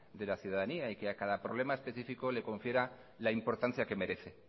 de la ciudadanía y a cada problema especifico le confiera la importancia que merece